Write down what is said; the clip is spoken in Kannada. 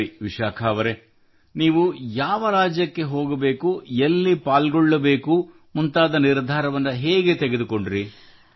ಸರಿ ವಿಶಾಖಾ ಅವರೆ ನೀವು ಯಾವ ರಾಜ್ಯಕ್ಕೆ ಹೋಗಬೇಕು ಎಲ್ಲಿ ಪಾಲ್ಗೊಳ್ಳಬೇಕು ಮುಂತಾದ ನಿರ್ಧಾರವನ್ನು ಹೇಗೆ ತೆಗೆದುಕೊಂಡಿರಿ